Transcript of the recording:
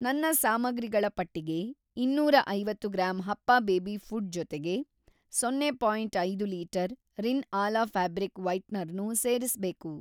ನನ್ನ ಸಾಮಗ್ರಿಗಳ ಪಟ್ಟಿಗೆ ಇನ್ನೂರ ಐವತ್ತು ಗ್ರಾಂ ಹಪ್ಪ ಬೇಬಿ ಫ಼ುಡ್ ಜೊತೆಗೆ ಜೀರೋ.ಐದು litre Rin Ala fabric whitener ನೂ ಸೇರಿಸ್ಬೇಕು.